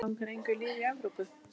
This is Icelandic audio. Langar engu liði í Evrópu?